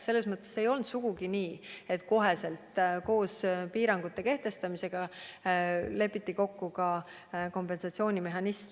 Ei olnud sugugi nii, et kohe koos piirangute kehtestamisega lepiti kokku ka kompensatsioonimehhanism.